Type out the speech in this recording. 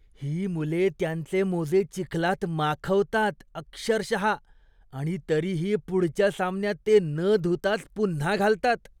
ही मुले त्यांचे मोजे चिखलात माखवतात अक्षरशः आणि तरीही पुढच्या सामन्यात ते न धुताच पुन्हा घालतात.